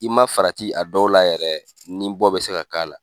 I ma farati a dɔw la yɛrɛ ni bɔ be se ka k'a la.